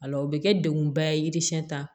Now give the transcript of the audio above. A la o bɛ kɛ degunba ye yiri siyɛn tan